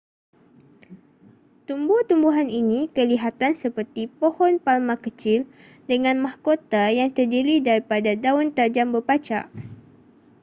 tumbuh-tumbuhan ini kelihatan seperti pohon palma kecil dengan mahkota yang terdiri daripada daun tajam berpacak